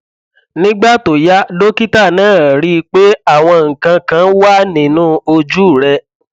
nígbà tó yá dókítà náà ríi pé àwọn nǹkan kan wà nínú ojú rẹ